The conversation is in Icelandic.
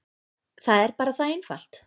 Það er bara það einfalt.